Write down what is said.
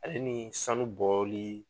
Hali ni sanu bɔli